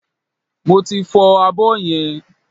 Mo ti fọ abọ́ yẹn